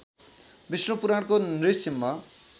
विष्णु पुराणको नृसिंह